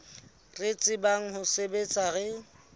re tsebang ho sebetsa re